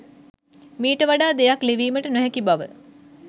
මීට වඩා දෙයක් ලිවීමට නොහැකි බව